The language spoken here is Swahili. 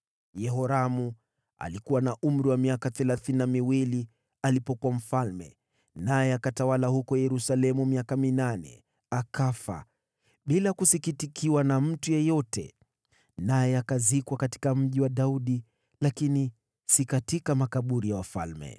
Yehoramu alikuwa na umri wa miaka thelathini na miwili alipokuwa mfalme, naye akatawala huko Yerusalemu miaka minane. Akafa, bila kusikitikiwa na mtu yeyote, naye akazikwa katika Mji wa Daudi, lakini si katika makaburi ya wafalme.